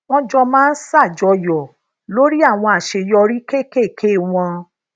wón jọ máa ń sajoyo lori àwọn àṣeyọrí kéékèèké wón